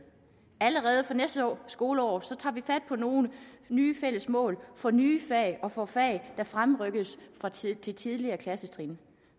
allerede fra næste skoleår tager vi fat på nogle nye fælles mål for nye fag og for fag der fremrykkes til tidligere klassetrin